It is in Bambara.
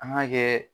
An k'a kɛ